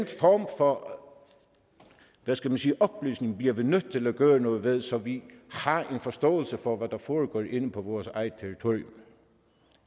form for hvad skal man sige oplysning bliver vi nødt til at gøre noget ved så vi har en forståelse for hvad der foregår inde på vores eget territorium